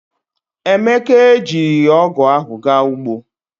Emeka ejirighi ogu ahu ga ugbo.